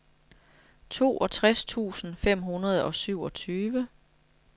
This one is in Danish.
toogtres tusind fem hundrede og syvogtyve